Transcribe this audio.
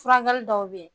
Furakɛli dɔw bɛ yen